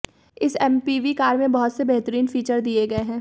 इस MPV car में बहुत से बेहतरीन फीचर्स दिए गए हैं